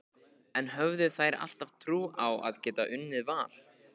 En höfðu þær alltaf trú á að geta unnið Val?